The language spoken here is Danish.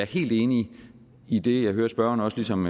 helt enig i det jeg hører spørgeren også ligesom